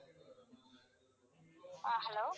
ஆஹ் hello